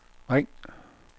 ring